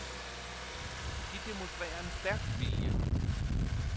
De demonstrerer en stærk vilje.